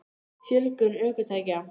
Fjölgun ökutækja?